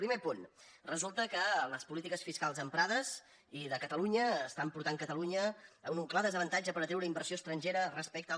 primer punt resulta que les polítiques fiscals empra·des i de catalunya estan portant catalunya a un clar desavantatge per atreure inversió estrangera respecte a